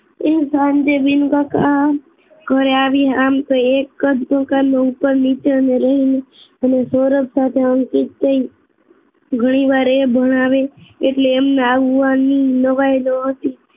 એ સાંજે વિનુકાકા ઘરે આવી આમ એક જ ઉપર નીચે અમે રઈ અને સૌરભ સાથે અંકિત ઘણીવાર એ ભણાવે એટલે એમના આવવાની નવાઈ ન હતી